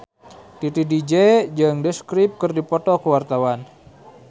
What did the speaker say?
Titi DJ jeung The Script keur dipoto ku wartawan